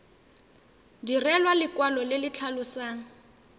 direlwa lekwalo le le tlhalosang